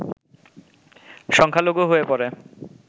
সংখ্যালঘু হয়ে পড়ে